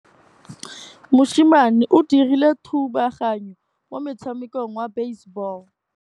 Mosimane o dirile thubaganyô mo motshamekong wa basebôlô.